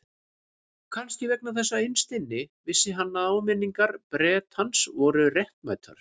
Kannski vegna þess að innst inni vissi hann að áminningar Bretans voru réttmætar.